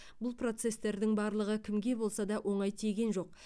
бұл процестердің барлығы кімге болса да оңай тиген жоқ